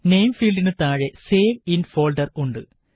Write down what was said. name ഫീല്ഡിന് താഴെ save in folder ഉണ്ട്